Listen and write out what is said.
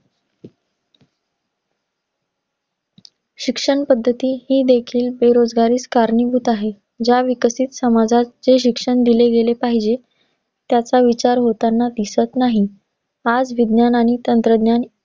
शिक्षण पद्धती ही देखील, बेरोजगारीस कारणीभूत आहे. ज्या विकसित समाजात जे शिक्षण दिले गेले पाहिजे, त्याचा विचार होतांना दिसत नाही. आज विज्ञान आणि तंत्रज्ञान